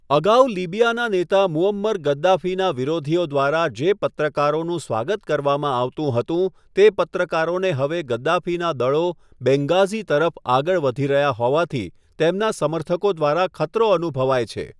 અગાઉ લિબિયાનાં નેતા મુઅમ્મર ગદ્દાફીનાં વિરોધીઓ દ્વારા જે પત્રકારોનું સ્વાગત કરવામાં આવતું હતું, તે પત્રકારોને હવે ગદ્દાફીનાં દળો બેન્ગાઝી તરફ આગળ વધી રહ્યા હોવાથી તેમના સમર્થકો દ્વારા ખતરો અનુભવાય છે.